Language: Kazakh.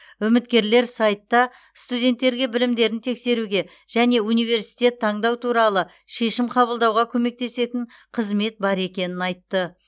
үміткерлер сайтта студенттерге білімдерін тексеруге және университет таңдау туралы шешім қабылдауға көмектесетін қызмет бар екенін айтты